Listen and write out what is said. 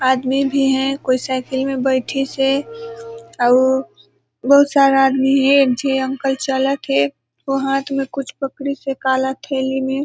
आदमी भी हे कोई साईकल में बैठिस हे अउ बहुत सारा आदमी हे एक झे अंकल चलत हे उ हाथ में कुछ पकड़िस हे काला थैली में --